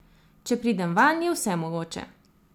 Če pridem vanj, je vse mogoče.